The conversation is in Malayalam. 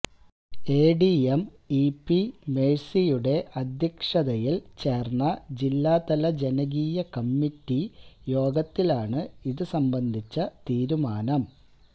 എഡിഎം ഇ പി മേഴ്സിയുടെ അധ്യക്ഷതയില് ചേര്ന്ന ജില്ലാതല ജനകീയ കമ്മിറ്റി യോഗത്തിലാണ് ഇത് സംബന്ധിച്ച തീരുമാനം